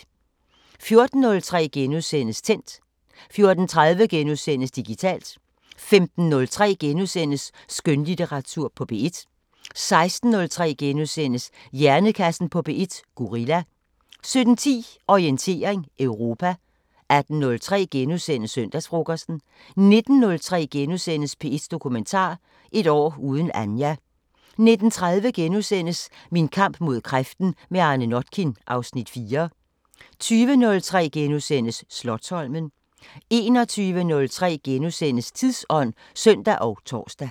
14:03: Tændt * 14:30: Digitalt * 15:03: Skønlitteratur på P1 * 16:03: Hjernekassen på P1: Gorilla * 17:10: Orientering Europa 18:03: Søndagsfrokosten * 19:03: P1 Dokumentar: Et år uden Anja * 19:30: Min kamp mod kræften – med Arne Notkin (Afs. 4)* 20:03: Slotsholmen * 21:03: Tidsånd *(søn og tor)